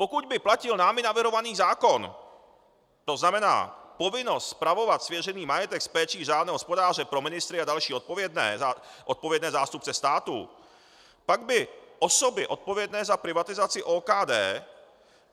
Pokud by platil námi navrhovaný zákon, to znamená povinnost spravovat svěřený majetek s péčí řádného hospodáře, pro ministry a další odpovědné zástupce státu, pak by osoby odpovědné za privatizaci OKD